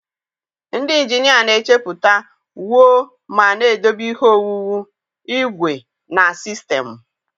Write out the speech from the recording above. Ndị injinia na-echepụta, wuo ma na-edobe ihe owuwu, igwe, na sistemụ.